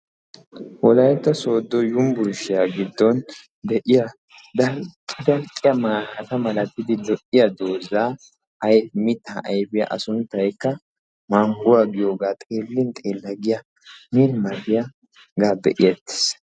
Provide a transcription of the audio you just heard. wolayitta sodo yumburshiya giddon de'iya dalqqi dalqqa maata malatidi de'iya dozzaa ayife mittaa ayifiya a sunttaykka mangguwa giyogaa xeellin xeella giya min mal'iyagaa be'eettes.